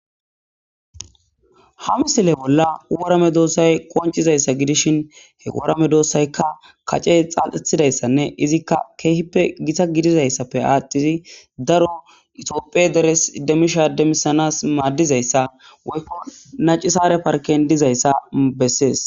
ha misile bolla worame doossay qoncizayssa gidishin he worame doossayka kace xaal7ethidayssanne izikka keehippe gita gidizayssappe aaththidi daro itiopphie deres demisha demisanas maaddizayssa woykko nacisaare parken dizayssa bessees